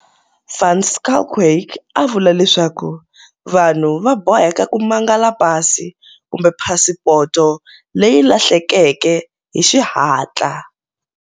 Van Schalkwyk u vula leswaku vanhu va boheka ku mangala pasi kumbe phasipoto leyi lahlekeke hi xihatla.